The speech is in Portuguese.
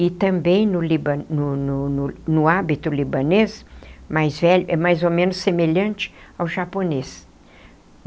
E também, no liba no no no no hábito libanês, mais velho é mais ou menos semelhante ao japonês.